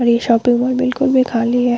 और ये shopping mall बिलकुल भी खाली है।